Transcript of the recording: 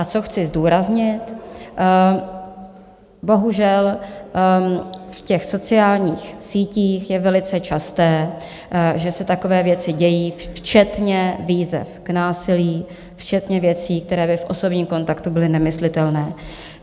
A co chci zdůraznit, bohužel v těch sociálních sítích je velice časté, že se takové věci dějí, včetně výzev k násilí, včetně věcí, které by v osobním kontaktu byly nemyslitelné.